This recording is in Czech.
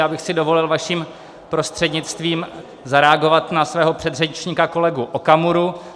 Já bych si dovolil, vaším prostřednictvím, zareagovat na svého předřečníka kolegu Okamuru.